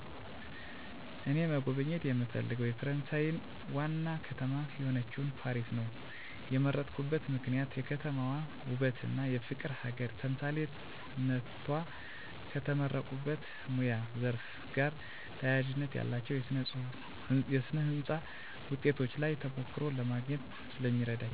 እኔ መጎብኘት የምፈልገው የፈረሳየን ዋና ከተማ የሆነችውን ፓሪስ ነው የመረጥኩበት ምክንያት የከተማዋ ውበትና የፍቅር ሀገር ተምሳሌትነቷ። ከተመረቁበት የሙያ ዘርፍ ጋር ተያያዥነት ያላቸውን የስነ ህንፃ ውጤቶች ላይ ተሞክሮ ለማግኘት ስለሚረዳኝ።